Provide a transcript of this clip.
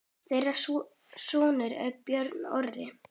Þeirra sonur er Björn Orri.